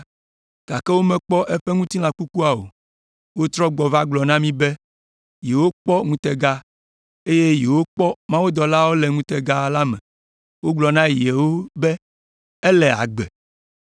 gake womekpɔ eƒe ŋutilã kukua o. Wotrɔ gbɔ va gblɔ na mí be yewokpɔ ŋutega, eye yewokpɔ mawudɔlawo le ŋutega la me wogblɔ na yewo be ele agbe.